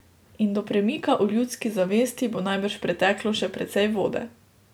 In do premika v ljudski zavesti bo najbrž preteklo še precej vode.